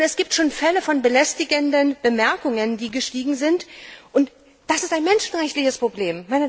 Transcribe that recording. Es gibt schon Fälle von belästigenden Bemerkungen, die gestiegen sind, und das ist ein menschenrechtliches Problem.